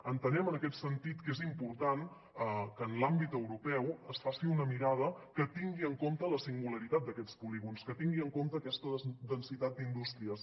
entenem en aquest sentit que és important que en l’àmbit europeu es faci una mirada que tingui en compte la singularitat d’aquests polígons que tingui en compte aquesta densitat d’indústries